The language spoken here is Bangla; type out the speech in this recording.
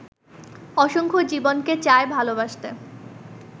অসংখ্য জীবনকে চায় ভালোবাসতে